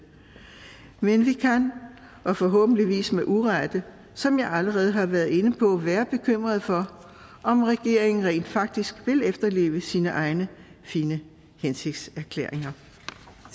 men vi kan og forhåbentligvis med urette som jeg allerede har været inde på være bekymrede for om regeringen rent faktisk vil efterleve sine egne fine hensigtserklæringer